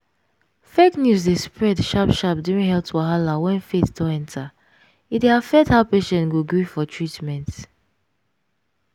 fake news dey spread sharp sharp during health wahala when faith don enter e dey affect how patient go gree for treatment.